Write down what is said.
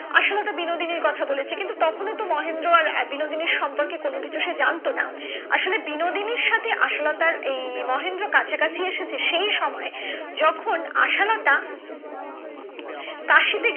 বিনোদিনীর কথা বলেছে কিন্তু তখনও তো মহেন্দ্র আর বিনোদিনী সম্পর্কে কোনো কিছু সে জানতো না আসলে বিনোদিনীর সাথে আশালতার এই মহেন্দ্র কাছাকছি এসেছে সেই সময় যখন আশালতা কাশি